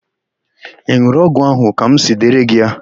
Ị n̄ụrụ ọgwụ ahụ ka m siri dere gị ya?